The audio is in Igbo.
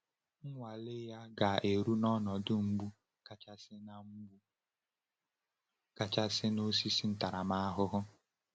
Nnwale ya ga-eru n’ọnọdụ mgbu kachasị na mgbu kachasị na osisi ntaramahụhụ.